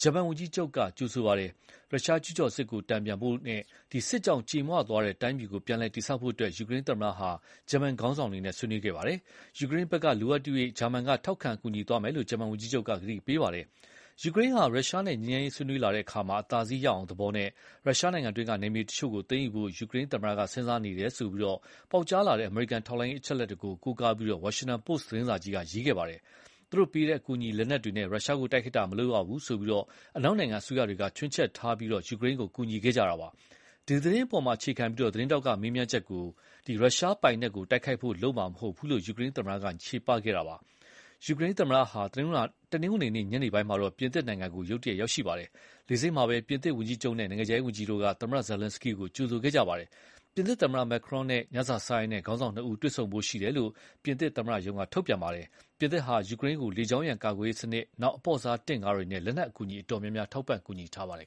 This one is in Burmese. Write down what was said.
ဂျာမန်ဝန်ကြီးချုပ် Olaf Scholz က ကြိုဆိုခဲ့ပါတယ်။ ရုရှားကျူးကျော်စစ်ကိုတန်ပြန်ဖို့နဲ့ စစ်ကြောင့်ကြေမွသွားတဲ့တိုင်းပြည်ကို ပြန်တည်ဆောက်ဖို့အတွက် ယူကရိန်းသမ္မတဟာ ဂျာမနီခေါင်းဆောင်တွေနဲ့ ဆွေးနွေးခဲ့ပါတယ်။ ယူကရိန်းဘက်ကလိုအပ်သရွေ့ ဂျာမန်က ထောက်ခံကူညီသွားမယ်လို့ ဂျာမန်ဝန်ကြီးချုပ်က ကတိပေးခဲ့ပါတယ်။ ယူကရိန်းဟာ ရုရှားနဲ့ငြိမ်းချမ်းရေးဆွေးနွေးလာတဲ့အခါ အသာစီးရအောင်သဘောနဲ့ ရုရှားအတွင်းကနယ်မြေတချို့ကို သိမ်းယူဖို့ ယူကရိန်းသမ္မတက စဉ်းစားနေတယ်လို့ ပေါက်ကြားလာတဲ့အမေရိကန်ထောက်လှမ်းရေးအချက်အလက်တွေကို ကိုးကားပြီး ဝါရှင်တန်ပို့စ်သတင်းစာကြီးက ရေးခဲ့ပါတယ်။ သူတို့ပေးတဲ့ အကူအညီလက်နက်တွေနဲ့ ရုရှားကိုတိုက်ခိုက်တာမလုပ်ရဘူး အနောက်နိုင်ငံအစိုးရတွေက ခြွင်းချက်ထားပြီး ယူကရိန်းကို ကူညီခဲ့ကြတာပါ။ ဒီသတင်းအပေါ်အခြေခံပြီး သတင်းထောက်ကမေးမြန်းတာကို ရုရှားပိုင်နက်ကို တိုက်ခိုက်ဖို့ လုပ်မှာမဟုတ်ဘူးလို့ ယူကရိန်းသမ္မတက ချေပခဲ့တာပါ။ ယူကရိန်းသမ္မတဟာ တနင်္ဂနွေနေ့ ညနေပိုင်းမှာတော့ ပြင်သစ်နိုင်ငံကိုရုတ်တရက်ရောက်ရှိခဲ့ပါတယ်။ လေဆိပ်မှာပဲ ပြင်သစ်ဝန်ကြီးချုပ်နဲ့ နိုင်ငံခြားရေးဝန်ကြီးတို့က သမ္မတ Zelenskyy ကို ကြိုဆိုခဲ့ကြပါတယ်။ ပြင်သစ်သမ္မတ Macron နဲ့ ညစာစားရင်း ခေါင်းဆောင်နှစ်ဦးတွေ့ဆုံဖို့ရှိတယ်လို့ ပြင်သစ်သမ္မတရုံးက ထုတ်ပြန်ပါတယ်။ ပြင်သစ်ဟာ ယူကရိန်းကို လေကြောင်းရန်ကာကွယ်ရေးစနစ်၊ အပေါ့စားတင့်ကားတွေနဲ့ လက်နက်အကူအညီအတော်များများ ထောက်ပံ့ကူညီထားပါတယ်